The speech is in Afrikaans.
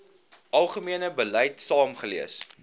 algemene beleid saamgelees